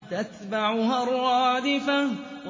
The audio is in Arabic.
تَتْبَعُهَا الرَّادِفَةُ